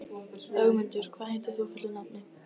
Ögmundur, hvað heitir þú fullu nafni?